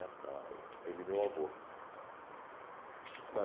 Na Ele e meu avô na